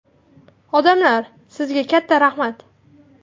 Odamlar, sizga katta rahmat!